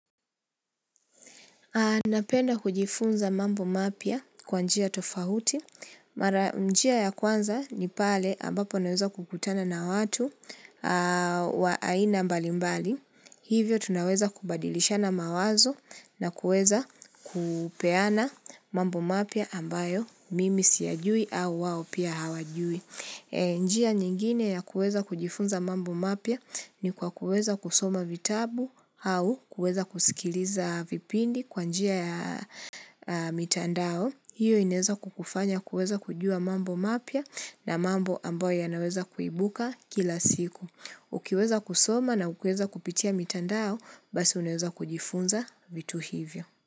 Napenda kujifunza mambo mapya kwa njia tofauti, mara njia ya kwanza ni pale ambapo naweza kukutana na watu wa aina mbali mbali, hivyo tunaweza kubadilisha na mawazo na kuweza kupeana mambo mapya ambayo mimi siyajui au wao pia hawajui. Njia nyingine ya kuweza kujifunza mambo mapya ni kwa kuweza kusoma vitabu au kuweza kusikiliza vipindi kwa njia ya mitandao. Hiyo inaweza kukufanya kuweza kujua mambo mapya na mambo ambayo yanaweza kuibuka kila siku. Ukiweza kusoma na ukiweza kupitia mitandao basi unaweza kujifunza vitu hivyo.